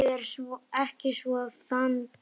Ég er ekki svo fundvís